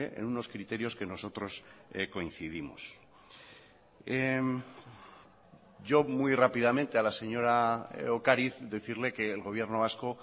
en unos criterios que nosotros coincidimos yo muy rápidamente a la señora ocariz decirle que el gobierno vasco